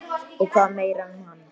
Og hvað meira um hana?